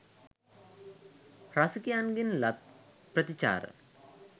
රසිකයන්ගෙන් ලත් ප්‍රතිචාර